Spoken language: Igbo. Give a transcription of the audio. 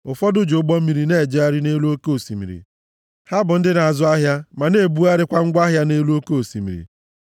Ụfọdụ ji ụgbọ mmiri na-ejegharị nʼelu oke osimiri; ha bụ ndị na-azụ ahịa ma na-ebugharịkwa ngwa ahịa nʼelu oke osimiri.